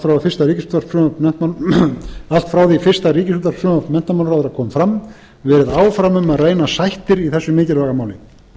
frá því fyrsta ríkisútvarpsfrumvarp menntamálaráðherra kom fram verið áfram um að reyna sættir í þessu mikilvæga máli